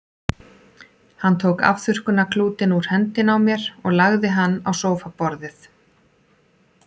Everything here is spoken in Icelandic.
Hann tók afþurrkunarklútinn úr hendinni á mér og lagði hann á sófaborðið.